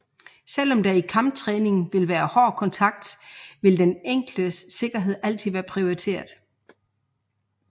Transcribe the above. Selv om der i kamptræningen vil være hård kontakt vil den enkeltes sikkerhed altid være prioriteret